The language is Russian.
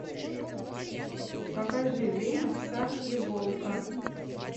покажи время пса и волка